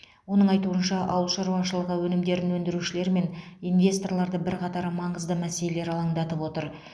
оның айтуынша ауыл шаруашылығы өнімдерін өндірушілер мен инвесторларды бірқатар маңызды мәселелер алаңдатып отыр